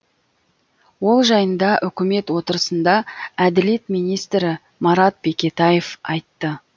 ол жайында үкімет отырысында әділет министрі марат бекетаев айтты